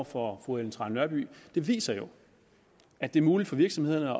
for fru ellen trane nørby viser jo at det er muligt for virksomhederne